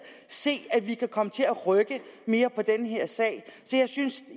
se at vi kan komme til at rykke mere på den her sag så jeg synes